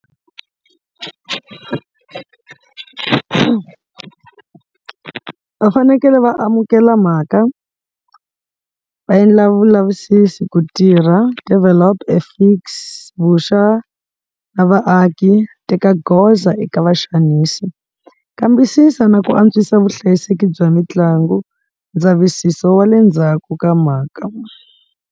Va fanekele va amukela mhaka va endla vulavisisi ku tirha develop e fix, vuxa na vaaki, teka goza eka vaxanisi. Kambisisa na ku antswisa vuhlayiseki bya mitlangu ndzavisiso wa le ndzhaku ka mhaka.